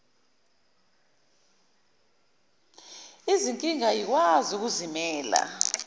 izinkinga ayikwazi ukuzimela